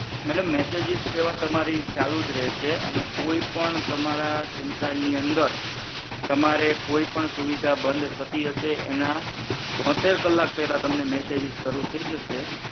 madam messages સેવા તમારી ચાલુજ રહેશે અને કોઈ પણ તમારા સિમ કાર્ડ ની અંદર તમારે કોઈ પણ સુવિધા બન્દ થતી હશે એના બોત્તેર કલાક પહેલા તમને મેસેજેસ શરૂ થી જશે